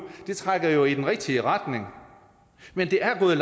trækker i den rigtige retning men det er gået